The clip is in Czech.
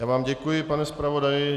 Já vám děkuji, pane zpravodaji.